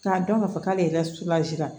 K'a dɔn k'a fɔ k'ale yɛrɛ la